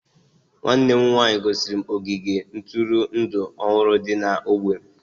nwanne m nwanyị gosiri m ogige ntụrụndụ ọhụrụ dị n'ógbè m